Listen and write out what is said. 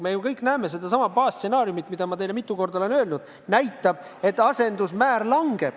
Me kõik teame seda baasstsenaariumi, millele ma olen mitu korda viidanud: asendusmäär langeb.